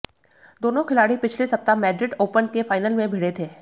दोनों खिलाड़ी पिछले सप्ताह मैड्रिड ओपन के फाइनल में भिड़े थे